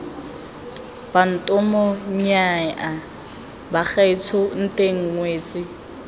bantomo nnyaya bagaetsho nteng ngwetsi